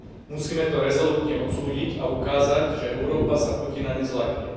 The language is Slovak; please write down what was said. Musíme to rezolútne odsúdiť a ukázať, že Európa sa Putina nezľakne.